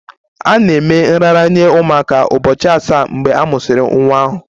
A na-eme nraranye ụmụaka ụbọchị asaa mgbe a mụsịrị nwa ahụ